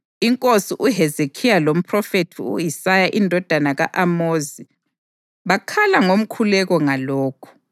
INkosi uHezekhiya lomphrofethi u-Isaya indodana ka-Amozi bakhala ngomkhuleko ngalokhu.